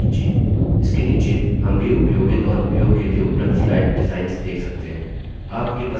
इसके नीचे हम भी उपयोगित और उपयोग के लिए उपलब्ध slide डिजाइन्स देख सकते हैं